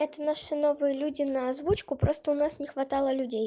это наши новые люди на озвучку просто у нас не хватало людей